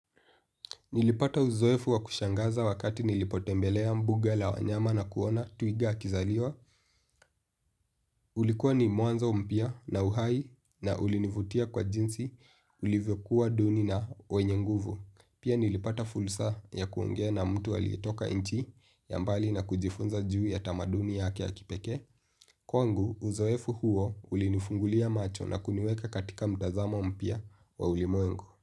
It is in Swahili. Nilipata uzoefu wa kushangaza wakati nilipotembelea mbuga la wanyama na kuona twiga akizaliwa. Ulikuwa ni mwanzo mpya na uhai na ulinivutia kwa jinsi ulivyokuwa duni na wenye nguvu. Pia nilipata fursa ya kuongea na mtu aliyetoka nchi ya mbali na kujifunza juu ya tamaduni yake ya kipekee. Kwangu uzoefu huo ulinifungulia macho na kuniweka katika mtazamo mpya wa ulimwengu.